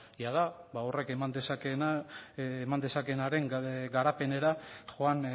jada horrek eman dezakeena eman dezakeenaren garapenera joan